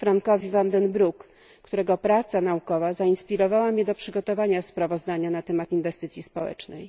Frankowi van der Broekowi, którego praca naukowa zainspirowała mnie do przygotowania sprawozdania na temat inwestycji społecznych.